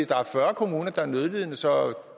der er fyrre kommuner der er nødlidende så